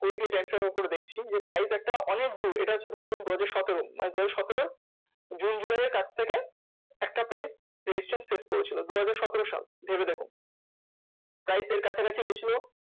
দেখছি যে price একটা অনেক দূর এটা হচ্ছে ধরে নিন দুহাজার সতেরো। মানে দুহাজার সতেরোর জুন জুলাই এর কাছ থেকে একটা price resistance face করেছিল। দুহাজার সতেরো সাল ভেবেদেখুন price এর কাছাকাছি গেছিলো,